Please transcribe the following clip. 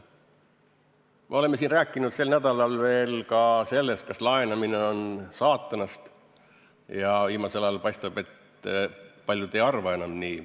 Me oleme siin rääkinud sel nädalal ka sellest, kas laenamine on saatanast, ja viimasel ajal paistab, et paljud ei arva enam nii.